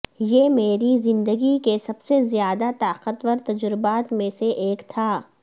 یہ میری زندگی کے سب سے زیادہ طاقتور تجربات میں سے ایک تھا